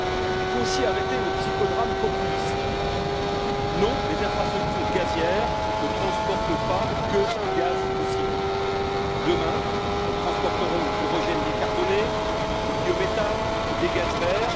Il faut aussi arrêter le psychodrame populiste non, les infrastructures gazières ne transportent pas que du gaz fossile. Demain, elles transporteront de l'hydrogène décarboné, du biométhane, des gaz verts.